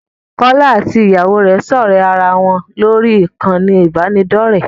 Kọ́lá àti Ìyàwó rẹ̀ ń ṣọ̀ré ara wọn ní orí ìkànnì ìbánidọ́rẹ̀ẹ́.